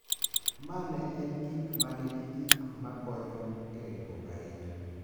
Ma ne en gik ma nigi gik ma konyo e ringruok ahinya.